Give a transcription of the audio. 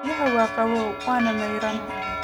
Biyahani waa qabow waana maydhan